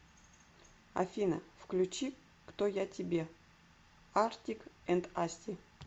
афина включи кто я тебе артик энд асти